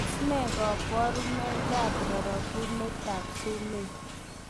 Tos nee koborunoikab rorokunetab sumek?